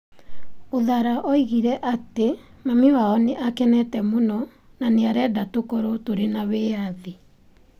Uthara oigire atĩ mami wao nĩ akenete mũno na nĩ arenda tũkorũo tũrĩ na wĩyathi.